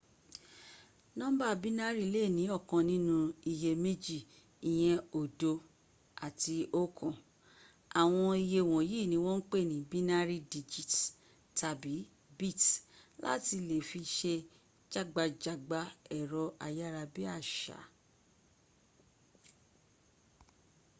nọ́ḿbà bínárì lè ní ọ̀kan nínú iye méjì ìyẹn oódo àti oókan àwọn iye wọ̀nyìí ni wọ́n ń pè ní binary digits - tàbí bits láti le fi se jágbajàgba ẹ̀rọ ayárabíàṣá